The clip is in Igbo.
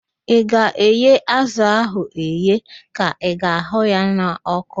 Ị ga-eghe azụ ahụ eghe ka ị ga-ahụ ya n'ọkụ?